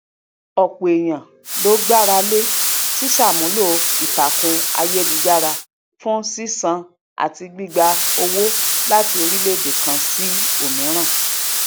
ọpọ ènìyàn ló gbára lé ṣíṣàmúlò ìtàkùn ayélujára fun sísan àti gbígba owó láti orílẹèdè kan sí òmíràn